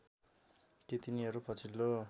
कि तिनीहरू पछिल्लो